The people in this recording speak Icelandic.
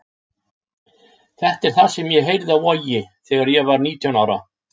Þetta er það sem ég heyrði á Vogi þegar ég var nítján ára.